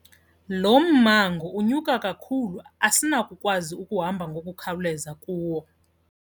Lo mmango unyuka kakhulu asinakukwazi ukuhamba ngokukhawuleza kuwo.